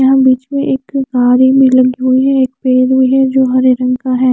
यहाँं बीच में एक गाड़ी भी लगी हुई है एक पेड़ भी है जो हरे रंग का है।